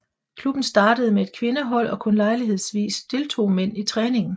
Klubben startede med et kvindehold og kun lejlighedsvis deltog mænd i træningen